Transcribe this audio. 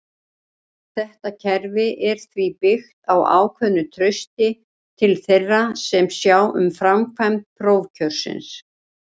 Þetta kerfi er því byggt á ákveðnu trausti til þeirra sem sjá um framkvæmd prófkjörsins.